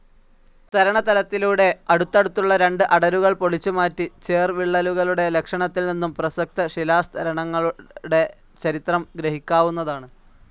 സ്തരണതലത്തിലൂടെ അടുത്തടുത്തുള്ള രണ്ട് അടരുകൾ പൊളിച്ചുമാറ്റി, ചേർവിള്ളലുകളുടെ ലക്ഷണത്തിൽനിന്നും പ്രസക്ത ശിലാസ്തരങ്ങളുടെ ചരിത്രം ഗ്രഹിക്കാവുന്നതാണ്.